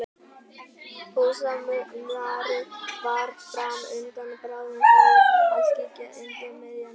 Hásumarið var fram undan og bráðum færi að skyggja undir miðja nótt.